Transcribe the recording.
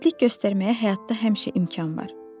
İgidlik göstərməyə həyatda həmişə imkan var.